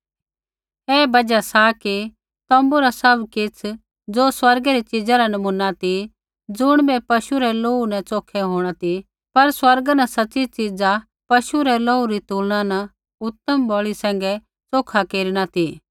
ऐही बजहा सा कि तोम्बू रा सैभ किछ़ ज़ो स्वर्गै री च़ीज़ा रा नमूना ती ज़ुणिबै पशु रै लोहू न च़ोखै होंणा ती पर स्वर्गा न सच़ी च़ीज़ा पशु रै लोहू री तुलना न उतम बलि सैंघै च़ोखा केरना ती